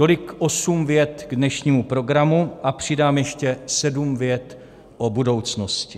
Tolik osm vět k dnešnímu programu a přidám ještě sedm vět o budoucnosti.